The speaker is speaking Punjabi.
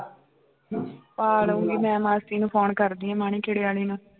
ਪਾ ਲਊਂਗੀ ਮੈਂ ਮਾਸੀ ਨੂੰ phone ਕਰਦੀ ਹਾਂ ਮਾਣੀ ਖੇੜੇ ਵਾਲੀ ਨੂੰ